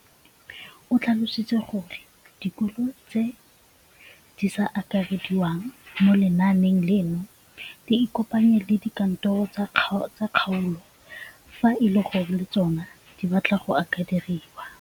O tlhalositse gore dikolo tse di sa akarediwang mo lenaaneng leno di ikopanye le dikantoro tsa kgaolo fa e le gore le tsona di batla go akarediwa.